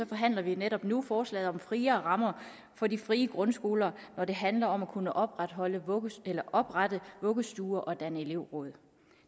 forhandler vi netop nu forslaget om friere rammer for de frie grundskoler når det handler om at kunne oprette oprette vuggestuer og danne elevråd